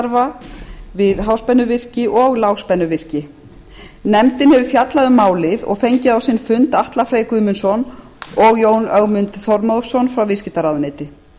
rafvirkjastarfa við háspennuvirki og lágspennuvirki nefndin hefur fjallað um málið og fengið á sinn fund atla frey guðmundsson og jón ögmund þormóðsson frá viðskiptaráðuneyti